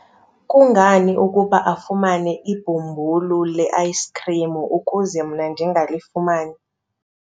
kungani ukuba afumane ibhumbulu le-ayisikhrim ukuze mna ndingalifumani?